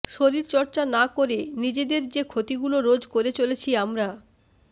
শরীরচর্চা না করে নিজেদের যে ক্ষতিগুলো রোজ করে চলেছি আমরা